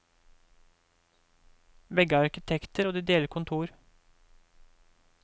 Begge er arkitekter, og de deler kontor.